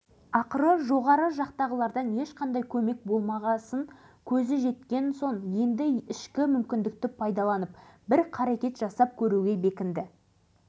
бұл мақсатты жүзеге асыру оңай емес екенін біле тұра білек сыбана кірісті